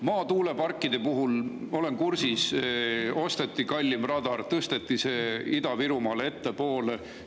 Maatuuleparkide puhul, olen kursis, osteti kallim radar, tõsteti see Ida-Virumaal ettepoole.